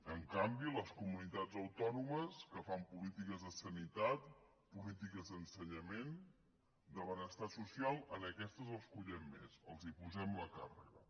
en canvi les comunitats autònomes que fan polítiques de sanitat polítiques d’ensenyament de benestar social aquestes les collem més els posem la càrrega